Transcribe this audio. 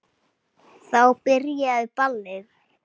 Þá byrjaði ballið.